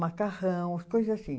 Macarrão, coisa assim.